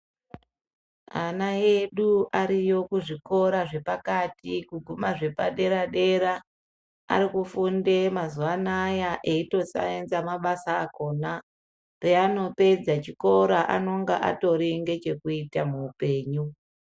Ana edu ariyo kuzvikora zvepakati kuguma zvepadera dera, ari kufunde mazuwa anaya eitosaenza mabasa akona. Peanopedza chikora anonga atori nechekuita muupenyu.